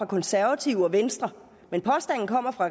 konservative og venstre men påstanden kommer fra